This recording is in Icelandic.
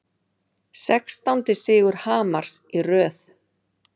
Sextándi sigur Hamars í röð